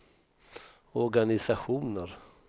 organisationer